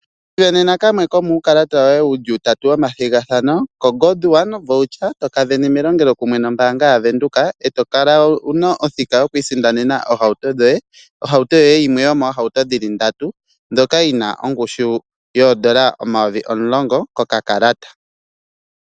Isindanena kamwe komuukalata woye wu li utatu womathigathano koGondwana to ka sindana melongelokumwe nombaanga yaVenduka e to kala wu na ompito yoku isindanena ohauto yimwe yomoohauto dhi li ndatu, moka wu na ongushu yooN$ 10 000 kokakalata.